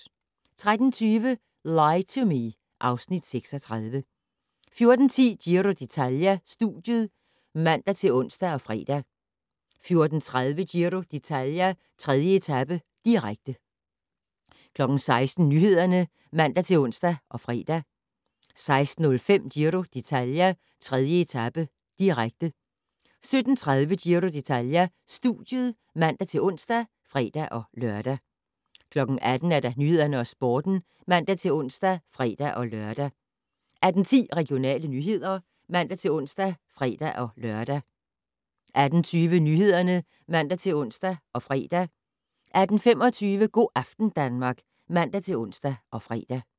13:20: Lie to Me (Afs. 36) 14:10: Giro d'Italia: Studiet (man-ons og fre) 14:30: Giro d'Italia: 3. etape, direkte 16:00: Nyhederne (man-ons og fre) 16:05: Giro d'Italia: 3. etape, direkte 17:30: Giro d'Italia: Studiet (man-ons og fre-lør) 18:00: Nyhederne og Sporten (man-ons og fre-lør) 18:10: Regionale nyheder (man-ons og fre-lør) 18:20: Nyhederne (man-ons og fre) 18:25: Go' aften Danmark (man-ons og fre)